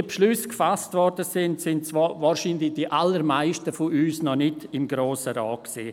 Als diese Beschlüsse gefasst wurden, waren wohl die allermeisten von uns noch nicht im Grossen Rat.